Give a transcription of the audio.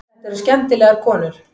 Þetta eru skemmtilegar konur.